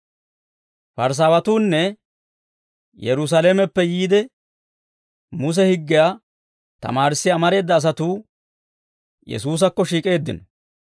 Parisaawatuunne Yerusaalameppe yiide, Muse higgiyaa tamaarissiyaa amareeda asatuu Yesuusakko shiik'eeddino.